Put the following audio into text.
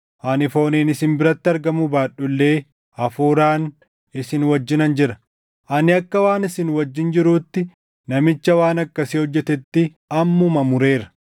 Ani fooniin isin biratti argamuu baadhu illee hafuuraan isin wajjinan jira. Ani akka waan isin wajjin jiruutti namicha waan akkasii hojjetetti ammuma mureera.